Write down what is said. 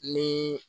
Ni